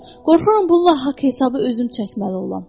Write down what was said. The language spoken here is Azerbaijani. Qorxuram, bununla haqq-hesabı özüm çəkməli olam.